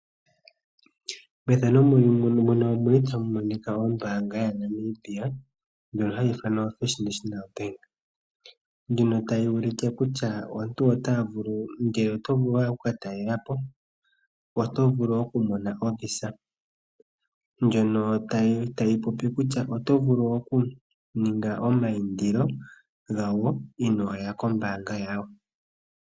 Ombaanga yaNamibia ndjono hayi ithanwa First National Bank, tayi ulike kutya ngele owa hala oku ka talela po oto vulu okumona ovisa tayi yelitha kutya oto vulu oku ninga omayindilo gayo inoya kombaanga.